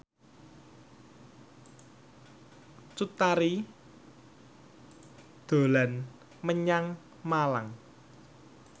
Cut Tari dolan menyang Malang